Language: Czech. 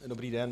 Dobrý den.